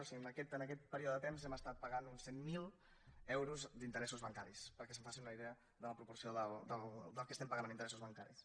o sigui en aquest període de temps hem estat pagant uns cent mil euros d’interessos bancaris perquè es facin una idea de la proporció del que estem pagant en interessos bancaris